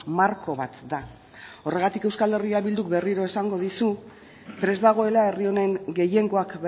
marko bat da horregatik euskal herria bilduk berriro esango dizu prest dagoela herri honen gehiengoak